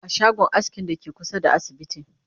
a shagon askin Dake kusa da asibiti